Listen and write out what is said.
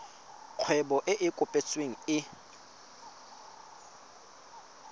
kgwebo e e kopetsweng e